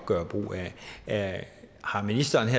gøre brug af har ministeren